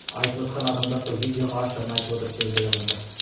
айтып отырған адамдар сол видеоға ашығын айтып отыр сол жердегі адамдар